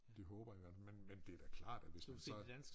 Det håber jeg godt men men det da klart at hvis man så